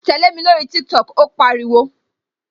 Tẹlẹ mi lórí TikTok "ó pariwo